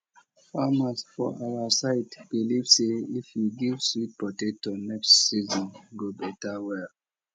farmers for our side believe say if you give sweet potato next season go better well